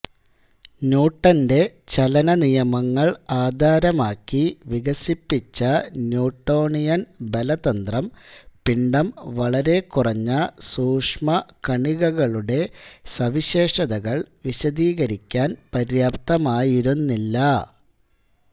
ന്യൂട്ടന്റെ ചലനനിയമങ്ങൾ ആധാരമാക്കി വികസിപ്പിച്ച ന്യൂട്ടോണിയൻ ബലതന്ത്രം പിണ്ഡം വളരെക്കുറഞ്ഞ സൂക്ഷ്മകണികകളുടെ സവിശേഷതകൾ വിശദീകരിക്കാൻ പര്യാപ്തമായിരുന്നില്ല